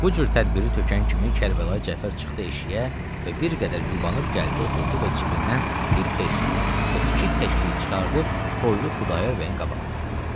Bu cür tədbiri tökən kimi Kərbəlayı Cəfər çıxdı eşiyə və bir qədər yubanub gəldi oturdu və cibindən bir beşlik və iki təklik çıxardıb qoydu Xudayar bəyin qabağına.